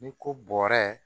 Ni ko bɔrɛ